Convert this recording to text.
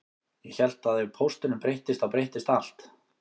Ég hélt að ef pósturinn breyttist þá breyttist allt